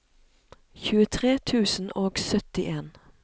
tjuetre tusen og syttien